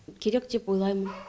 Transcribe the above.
керек деп ойлаймын